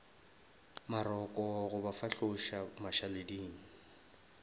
maroko go ba fahloša mašaleding